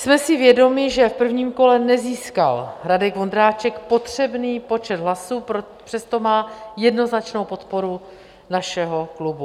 Jsme si vědomi, že v prvním kole nezískal Radek Vondráček potřebný počet hlasů, přesto má jednoznačnou podporu našeho klubu.